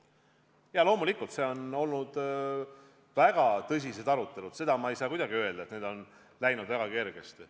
Loomulikult on olnud väga tõsiseid arutelusid ja ma ei saa kuidagi öelda, et need oleksid läinud väga kergesti.